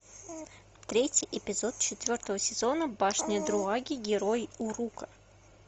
третий эпизод четвертого сезона башня друаги герои урука